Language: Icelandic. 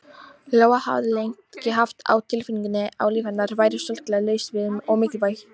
Lóa hafði lengi haft á tilfinningunni að líf hennar væri sorglega laust við mikilvægi.